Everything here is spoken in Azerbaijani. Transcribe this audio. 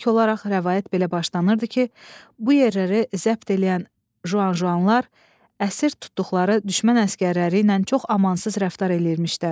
İlk olaraq rəvayət belə başlanırdı ki, bu yerləri zəbt eləyən Juan Juanlar əsir tutduqları düşmən əsgərləri ilə çox amansız rəftar eləyirmişlər.